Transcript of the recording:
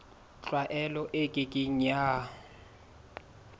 tlwaelo e ke ke ya